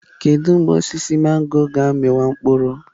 Kedu mgbe osisi mangọrọ ga-amị wa mkpụrụ?